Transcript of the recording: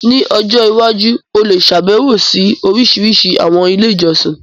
Ní ọjọ́ iwájú, o lè ṣàbẹ̀wo sí orísìírísìí àwọn ilé ìjọsìn.